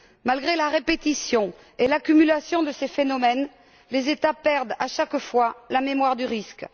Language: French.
Malgré la répétition et l'accumulation de ces phénomènes, les États perdent à chaque fois la mémoire du risque.